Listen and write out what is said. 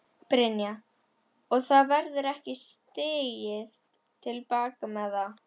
Brynja: Og það verður ekki stigið til baka með það?